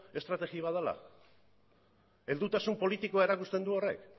estrategi bat dela heldutasun politikoa erakusten du horrek